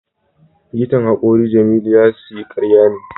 Likitan hakori Jamiu ya siya karya ne